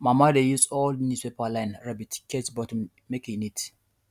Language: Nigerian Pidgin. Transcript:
mama dey use old newspaper line rabbit cage bottom make e neat